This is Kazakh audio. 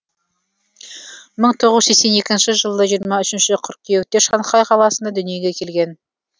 мың тоғыз жүз сексен екінші жылы жиырма үшінші қыркүйекте шанхай қаласында дүниеге келген